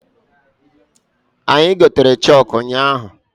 Anyi gotere chọkụ ụnyaahụ.